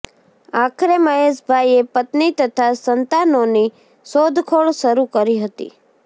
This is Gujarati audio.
આખરે મહેશભાઇએ પત્ની તથા સંતાનોની શોધખોળ શરૂ કરી હતી